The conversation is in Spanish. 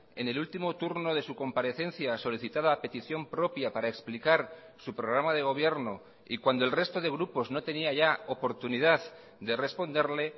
en el último turno de su comparecencia solicitada a petición propia para explicar su programa de gobierno y cuando el resto de grupos no tenía ya oportunidad de responderle